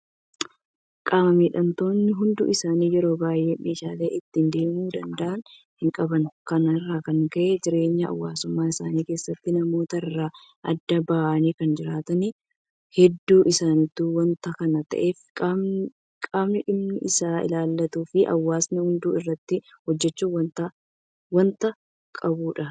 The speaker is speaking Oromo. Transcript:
Qaama miidhamtoonni hedduun isaanii yeroo baay'ee meeshaalee ittiin deemuu danda'an hinqaban. Kana irraa kan ka'e jireenya hawaasummaa isaanii keessatti namoota irraa adda bahanii kan jiraatan hedduu isaaniiti. Waanta kana ta'eef qaamni dhimmi isaa ilaallatuufi hawaasni hundi irratti hojjechuu waanta qabudha.